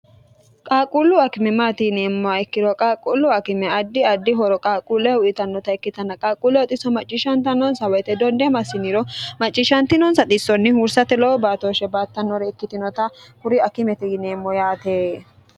qaaqquullu akime maati yineemmoha ikkiro qaaqquullu akime addi addi horo qaaquulleho uyitannota ikkitanna qaaqquulleho xisso macciishshanta nonsa woyite donde massiniro macciishshantinoonsa xissonni huursate lowo baatooshshe baattannore ikkkitinota kuri akimete yineemmo yaate